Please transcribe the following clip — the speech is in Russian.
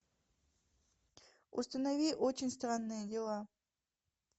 установи очень странные дела